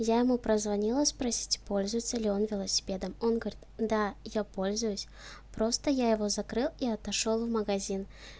я ему прозвонила спросить пользуется ли он велосипедом он говорит да я пользуюсь просто я его закрыл и отошёл в магазин